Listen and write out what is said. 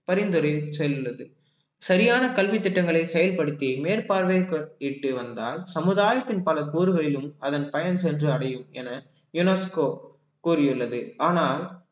பரிந்துரை செய்துள்ளது சரியான கல்வித் திட்டங்களை செயல்படுத்தி மேற்பார்வையிட்டு வந்தால் சமுதாயத்தின் பல போர்களிலும் அதன் பயன் சென்று அடையும் என UNESCO கூறியுள்ளது ஆனால்